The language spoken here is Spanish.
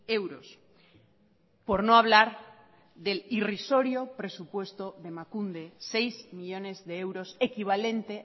euros por no hablar del irrisorio presupuesto de emakunde seis millónes de euros equivalente